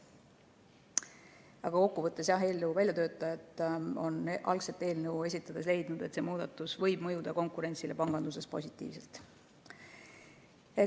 Aga kokkuvõttes, jah, eelnõu väljatöötajad on algselt eelnõu esitades leidnud, et see muudatus võib mõjuda konkurentsile panganduses positiivselt.